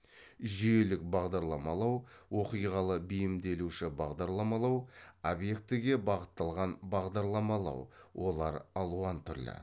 жүйелік бағдарламалау оқиғалы бейімделуші бағдарламалау объектіге бағытталған бағдарламалау олар алуан түрлі